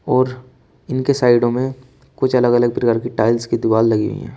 और इनके साइडों में कुछ अलग अलग प्रकार की टाइल्स की दीवाल लगी हुई हैं।